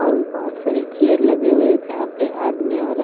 पर बहुत सारी चेयर लगे हुए हैं जहाँ पे आदमी औरत--